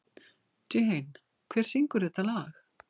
Jane, hver syngur þetta lag?